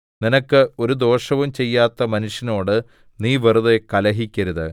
നിനക്ക് ഒരു ദോഷവും ചെയ്യാത്ത മനുഷ്യനോട് നീ വെറുതെ കലഹിക്കരുത്